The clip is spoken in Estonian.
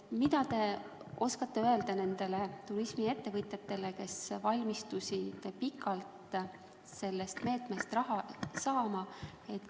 Mida te oskate öelda nendele turismiettevõtjatele, kes valmistusid pikalt sellest meetmest raha saama?